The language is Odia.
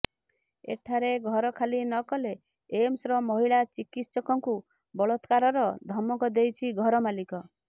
ଏଠାରେ ଘର ଖାଲି ନକଲେ ଏମ୍ସର ମହିଳା ଚିକିତ୍ସକଙ୍କୁ ବଳାତ୍କାରର ଧମକ ଦେଇଛି ଘର ମାଲିକ